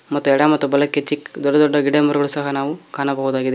ಮತ್ತು ಎಡ ಮತ್ತು ಬಲಕ್ಕೆ ಚಿಕ್ ದೊಡ್ಡ ದೊಡ್ಡ ಗಿಡ ಮರಗಳು ಸಹ ನಾವು ಕಾಣಬಹುದಾಗಿದೆ.